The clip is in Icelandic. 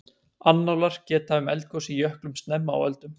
annálar geta um eldgos í jöklum snemma á öldum